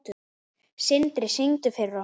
Sindri: Syngdu fyrir okkur?